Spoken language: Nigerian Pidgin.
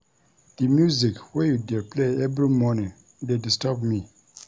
Di music wey you dey play every morning dey disturb me.